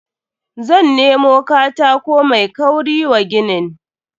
Zan nemo katako mai kauri wa ginin.